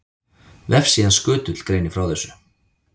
Vefsíðan Skutull greinir frá þessu.